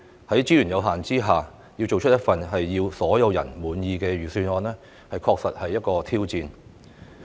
在資源有限下，要做出一份令所有人滿意的預算案確實是一項挑戰。